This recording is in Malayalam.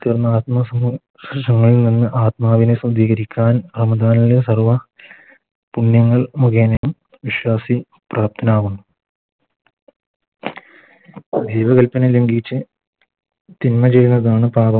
തീർന്ന ആത്മ ആത്മാവിനെ ശുദ്ധീകരിക്കാൻ സർവ്വ പുണ്യങ്ങൾ മുഘേനെ വിശ്വാസി തിന്മ ചെയ്യുന്നതാണ്